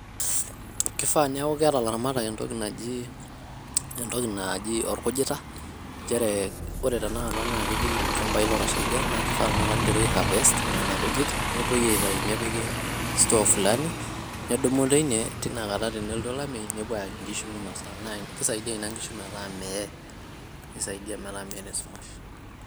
kifaa niaku keeta ilaramatak entoki naji ,entoki naaji orkujita nchere ore tenakata naa ketii ilchambai ootashaikia naa kifaa tenakata niteru ai harvest nena kujit nepuoi aitayu nepiki store fulani, netudumu teine tinakata tenelotu olameyu nepuo ayaki nkishu minosa naa kisaidia ina nkishu metaa meeye ,nisaidia metaa meeta esumash .